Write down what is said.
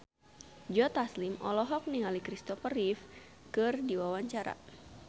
Joe Taslim olohok ningali Christopher Reeve keur diwawancara